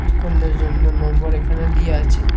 জন্য নম্বর এখানে দিয়া আছে।